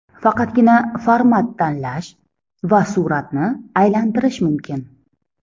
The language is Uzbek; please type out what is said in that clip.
Faqatgina format tanlash va suratni aylantirish mumkin.